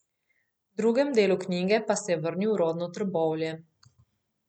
V drugem delu knjige pa se je vrnil v rodno Trbovlje.